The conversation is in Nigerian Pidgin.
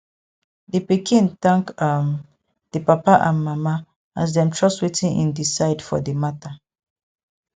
di pikin thank um di papa and mama as dem trust wetin im decide for di matter